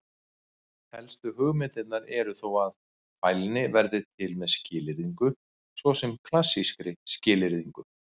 Helstu hugmyndirnar eru þó að: Fælni verði til með skilyrðingu, svo sem klassískri skilyrðingu.